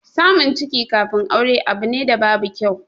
Samun ciki kafin aure abu ne da babu kyau.